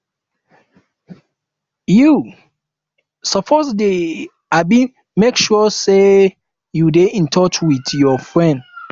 you um suppose dey um make sure sey you dey in touch wit your friends